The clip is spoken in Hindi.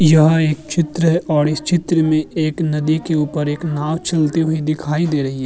यह एक चित्र है औड् इस चित्र में एक नदी के ऊपर एक नाव चलती हुई दिखाई दे रही है।